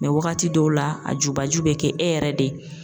Mɛ wagati dɔw la , a jubaju be kɛ e yɛrɛ de ye.